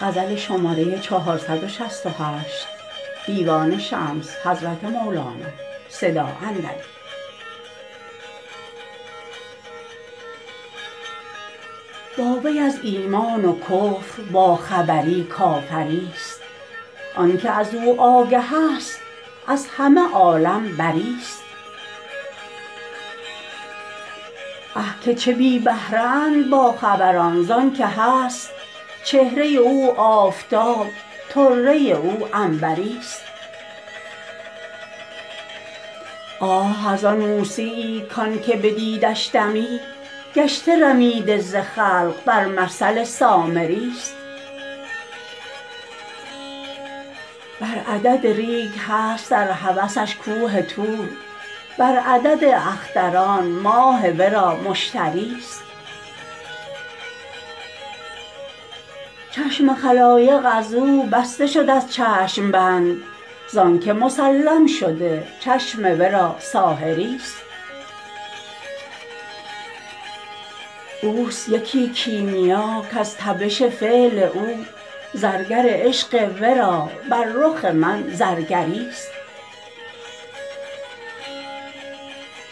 با وی از ایمان و کفر باخبری کافریست آنک از او آگهست از همه عالم بریست آه که چه بی بهره اند باخبران زانک هست چهره او آفتاب طره او عنبریست آه از آن موسیی کانک بدیدش دمی گشته رمیده ز خلق بر مثل سامریست بر عدد ریگ هست در هوسش کوه طور بر عدد اختران ماه ورا مشتریست چشم خلایق از او بسته شد از چشم بند زانک مسلم شده چشم ورا ساحریست اوست یکی کیمیا کز تبش فعل او زرگر عشق ورا بر رخ من زرگریست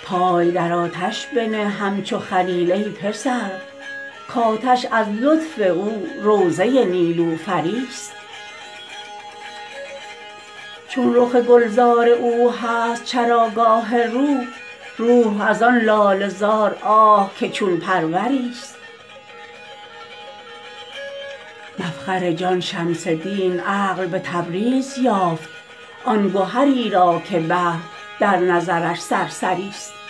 پای در آتش بنه همچو خلیل ای پسر کآتش از لطف او روضه نیلوفریست چون رخ گلزار او هست چراگاه روح روح از آن لاله زار آه که چون پروریست مفخر جان شمس دین عقل به تبریز یافت آن گهری را که بحر در نظرش سرسریست